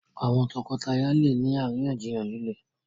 àwọn toko-taya lẹ ní àríyànjiyàn lile.